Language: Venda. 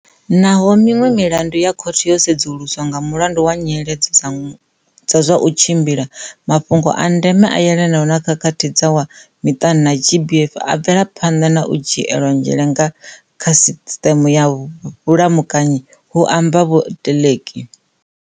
Naho miṅwe milandu ya khothe yo sudzuluswa nga mulandu wa nyiledzo dza zwa u tshimbila, maf hungo a ndeme a yelanaho na khakhathi dza zwa miṱani na GBV a bvela phanḓa na u dzhielwa nzhele nga kha sisṱeme ya vhulamukanyi, hu amba vhoTeleki.